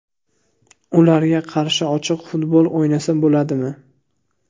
Ularga qarshi ochiq futbol o‘ynasa bo‘ladimi?